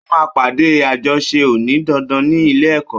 Ó máa pàdé àjọṣe òní dandan ní ilé èkọ́